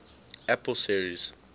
apple series